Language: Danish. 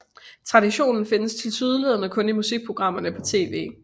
Traditionen findes tilsyneladende kun i musikprogrammerne på TV